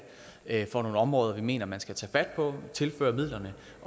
er for nogle områder som vi mener man skal tage fat på og tilføre midler